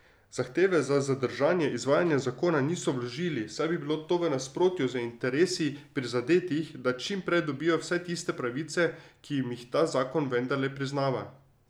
Zahteve za zadržanje izvajanja zakona niso vložili, saj bi bilo to v nasprotju z interesi prizadetih, da čim prej dobijo vsaj tiste pravice, ki jim jih ta zakon vendarle priznava.